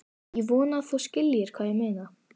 Ég vona að þú skiljir hvað ég meina.